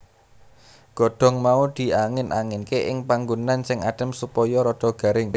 Godhong mau diangin anginke ing panggonan sing adem supaya rada garing